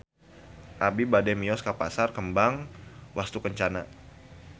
Abi bade mios ka Pasar Kembang Wastukencana